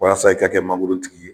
Walasa i ka kɛ magoro tigi ye